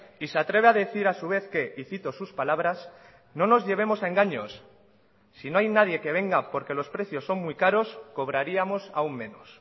y se atreve a decir a su vez que y cito sus palabras no nos llevemos a engaños si no hay nadie que venga porque los precios son muy caros cobraríamos aún menos